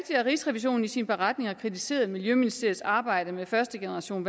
at rigsrevisionen i sin beretning har kritiseret miljøministeriets arbejde med første generation af